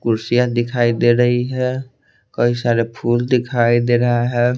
कुर्सियां दिखाई दे रही है कई सारे फूल दिखाई दे रहा है।